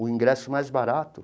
o ingresso mais barato.